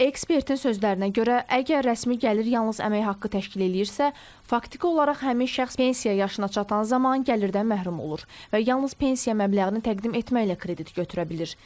Ekspertin sözlərinə görə, əgər rəsmi gəlir yalnız əmək haqqı təşkil eləyirsə, faktiki olaraq həmin şəxs pensiya yaşına çatan zaman gəlirdən məhrum olur və yalnız pensiya məbləğini təqdim etməklə kredit götürə bilir.